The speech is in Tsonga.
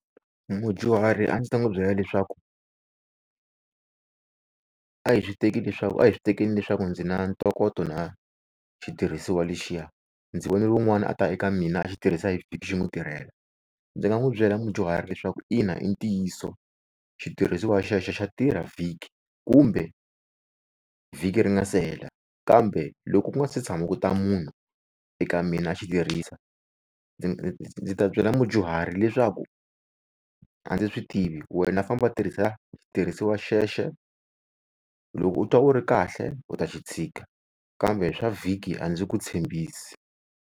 Mudyuharhi a ndzi ta n'wi byela leswaku, a hi swi teki leswaku a hi swi tekeni leswaku ndzi na ntokoto na xitirhisiwa lexiya, ndzi vone wun'wani a ta eka mina a xitirhisa hi vhiki xi n'wi tirhela. Ndzi nga n'wi byela mudyuhari leswaku ina i ntiyiso xitirhisiwa xexo xa tirha vhiki, kumbe vhiki ri nga se hela kambe loko ku nga se tshama ku ta munhu eka mina a xitirhisa ndzi ta byela mudyuhari leswaku a ndzi swi tivi wena famba tirhisa xitirhisiwa xexo loko u twa u ri kahle u ta xi tshika kambe swa vhiki a ndzi ku tshembisi.